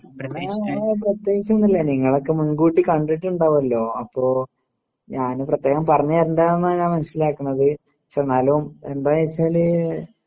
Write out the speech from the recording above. പിന്നേ എഹ് പ്രത്യേകിച്ചൊന്നുല്ല നിങ്ങളൊക്കെ മുൻകൂട്ടി കണ്ടിട്ടിണ്ടാവല്ലോ? അപ്പൊ ഞാന് പ്രത്യേകം പറഞ്ഞു തരണ്ടാന്നാ ഞാൻ മനസ്സിലാക്കണത് ച്ചെന്നാലും എന്തായിച്ചാല്